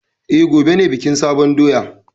E, gobe ne bikin sabon doya.